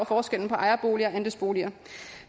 forskellen på ejerboliger og andelsboliger